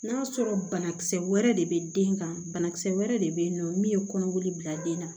N'a sɔrɔ banakisɛ wɛrɛ de be den kan banakisɛ wɛrɛ de be yen nɔ min ye kɔnɔboli bila den na